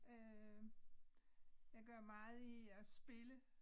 Øh jeg gør meget i at spille